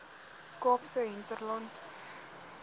kaapse hinterland